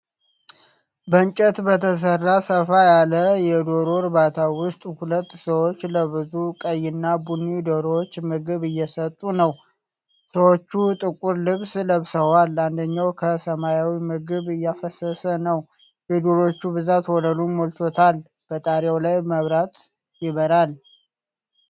በእንጨት በተሰራ ሰፋ ያለ የዶሮ እርባታ ውስጥ ሁለት ሰዎች ለብዙ ቀይ እና ቡኒ ዶሮዎች ምግብ እየሰጡ ነው። ሰዎች ጥቁር ልብስ ለብሰዋል፤ አንደኛው ከ ሰማያዊ ምግብ እያፈሰሰ ነው። የዶሮዎቹ ብዛት ወለሉን ሞልቶታል፤ በጣሪያው ላይም መብራት ይበራል።